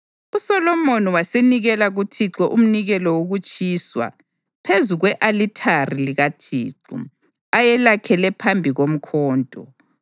USolomoni wasenikela kuThixo umnikelo wokutshiswa phezu kwe-alithari likaThixo ayelakhele phambi komkoto,